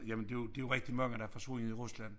Jamen det jo det jo rigtig mange der er forsvundet i Rusland